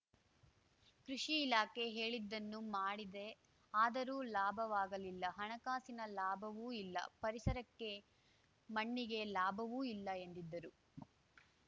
ಕೃಷಿ ಇಲಾಖೆ ಹೇಳಿದ್ದನ್ನೂ ಮಾಡಿದೆ ಆದರೂ ಲಾಭವಾಗಲಿಲ್ಲ ಹಣಕಾಸಿನ ಲಾಭವೂ ಇಲ್ಲ ಪರಿಸರಕ್ಕೆ ಮಣ್ಣಿಗೆ ಲಾಭವೂ ಇಲ್ಲ ಎಂದಿದ್ದರು